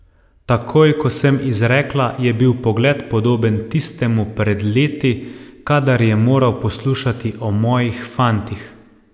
Takoj ko sem izrekla, je bil pogled podoben tistemu pred leti, kadar je moral poslušati o mojih fantih.